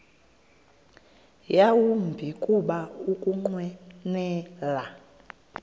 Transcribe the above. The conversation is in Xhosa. yawumbi kuba ukunqwenela